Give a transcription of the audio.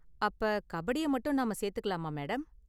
அப்ப கபடிய மட்டும் நாம சேத்துக்கலாமா, மேடம்?